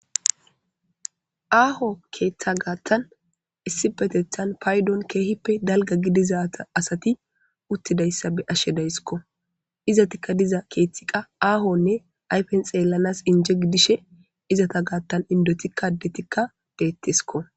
aaho keeththa gaattan issi betethan paydon keehippe dalga gidizata asati uttidayssa be ashshe dayssikko izatikka diza keeththiqa aahonne ayfen xeellanas inje gidishe izata gaattan indotikka detikka deettesiko